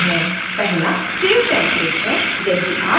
पहला save template है